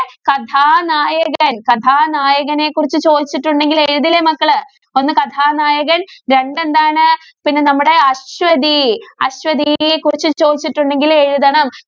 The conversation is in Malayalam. കഥാനായകന്‍ കഥാനായകനെ കുറിച്ച് ചോദിച്ചിട്ടുണ്ടെങ്കില്‍ എഴുതില്ലേ മക്കള്? ഒന്ന് കഥാനായകന്‍, രണ്ട് എന്താണ് പിന്നെ നമ്മടെ അശ്വതി. അശ്വതിയെ കുറിച്ച് ചോദിച്ചിട്ടുണ്ടെങ്കില്‍ എഴുതണം.